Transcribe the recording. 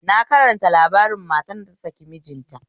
Na karanta labarin matar da ta saki mijinta